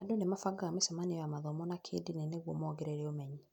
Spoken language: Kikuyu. Andũ nĩ mabagaga mĩcemanio ya mathomo ma kĩĩndini nĩguo mongerere ũmenyi.